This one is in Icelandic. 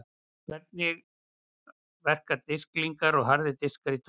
Hvernig verka disklingar og harðir diskar í tölvum?